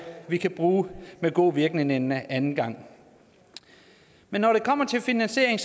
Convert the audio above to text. vi kan bruge med god virkning en anden gang men når det kommer til finansieringen